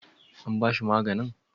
An bashi maganin?